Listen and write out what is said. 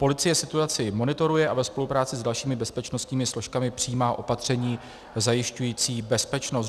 Policie situaci monitoruje a ve spolupráci s dalšími bezpečnostními složkami přijímá opatření zajišťující bezpečnost.